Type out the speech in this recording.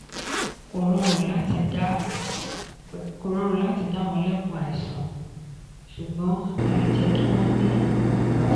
kò rọrùn láti dá wọn lẹ́kùn àìsàn ṣùgbọ́n a le jẹ́ kí wọ́n ní ìlera.